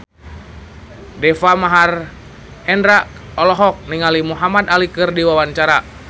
Deva Mahendra olohok ningali Muhamad Ali keur diwawancara